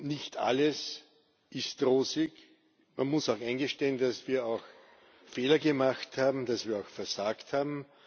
Nicht alles ist rosig, man muss auch eingestehen, dass wir auch Fehler gemacht haben, dass wir auch versagt haben.